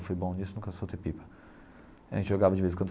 Fui bom disso nunca soltei pipa a gente jogava de vez em quando.